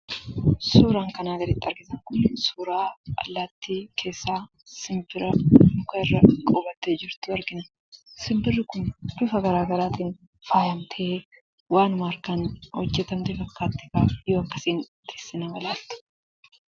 Suuraan kanaan gaditti arginu kun suuraa allaattii keessaa simbira mukarra qubattee jirtu argina. Simbirri kun bifa garaa garaatiin faayamtee waanuma harkaan hojjetamte fakkaatti, yoo akkasiin teessee nama ilaaltu.